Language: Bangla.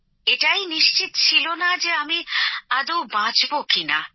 এটাই নিশ্চিত ছিল না যে আমি আদৌ বাঁচবো কি না